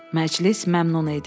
Məclis məmnun idi.